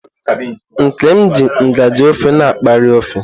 Nkem ji ngaji ofe na akpaari ofe.